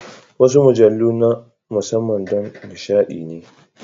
Wasu mujallu na musamman don nishaɗi ne.